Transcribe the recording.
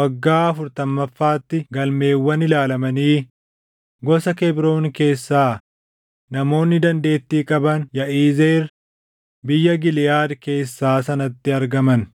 waggaa afurtamaffaatti galmeewwan ilaalamanii gosa Kebroon keessaa namoonni dandeettii qaban Yaʼizeer biyya Giliʼaadi keessaa sanatti argaman.